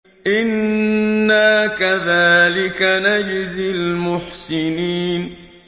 إِنَّا كَذَٰلِكَ نَجْزِي الْمُحْسِنِينَ